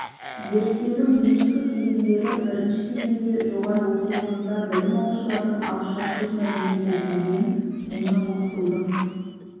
зерттеудің негізгі кезеңдері бірінші кезеңде жоғары оқу орнында білім алушылардың ауызша сөз мәдениеті деңгейін оны оқытудың